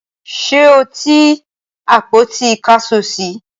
ṣé o ti àpótí ìkásọsí?